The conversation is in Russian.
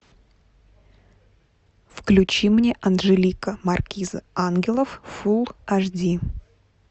включи мне анжелика маркиза ангелов фул аш ди